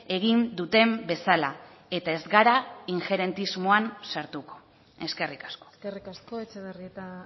egin duten bezala eta ez gara ingerentismoan sartuko eskerrik asko eskerrik asko etxebarrieta